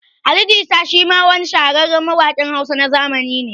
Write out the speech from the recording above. Ali Jita shi ma wa ni shahararren mawaƙin Hausa na zamani ne